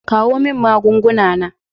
Kawo min maganganu na.